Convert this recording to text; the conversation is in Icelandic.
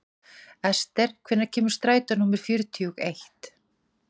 Esther, hvenær kemur strætó númer fjörutíu og eitt?